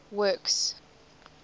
works